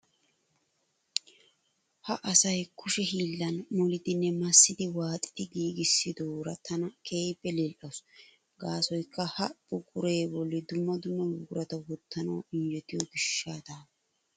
Ha asay kushe hiillan molidinne massidi waaxidi giigissidoora tana keehippe lila"awuus. Gaasoykka ha buquree bolli dumma dumma buqurata wottanawu injjetiyo gishshatawu.